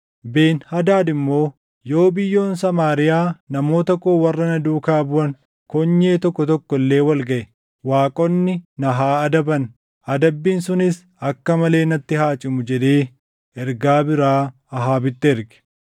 Ben-Hadaad immoo, “Yoo biyyoon Samaariyaa namoota koo warra na duukaa buʼan konyee tokko tokko illee wal gaʼe, waaqonni na haa adaban; adabbiin sunis akka malee natti haa cimu” jedhee ergaa biraa Ahaabitti erge.